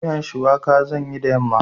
Miyan shuwaka zan yi da yamma.